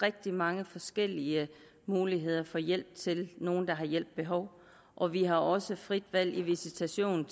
rigtig mange forskellige muligheder for hjælp til nogle der har hjælp behov og vi har også frit valg i visitation